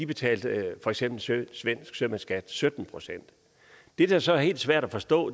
betalte for eksempel svensk sømandsskat på sytten procent det der så er helt svært at forstå